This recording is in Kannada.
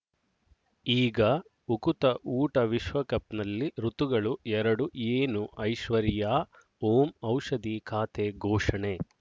ಈಗ ಉಕುತ ಊಟ ವಿಶ್ವಕಪ್‌ನಲ್ಲಿ ಋತುಗಳು ಎರಡು ಏನು ಐಶ್ವರ್ಯಾ ಓಂ ಔಷಧಿ ಖಾತೆ ಘೋಷಣೆ